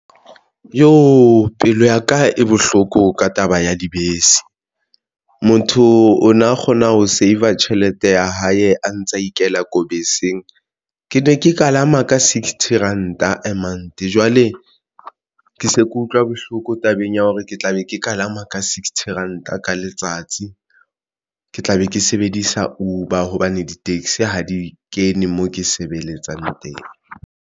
Jo! pelo ya ka e bohloko ka taba ya dibese, motho o na kgona ho saver tjhelete ya hae a ntsa ikela ko beseng. Ke ne ke kalama ka sixty ranta a month. Jwale ke se ke utlwa bohloko tabeng ya hore ke tla be ke kalama ka sixty ranta ka letsatsi, ke tla be ke sebedisa Uber hobane di-taxi ha di kene moo ke sebeletsang teng.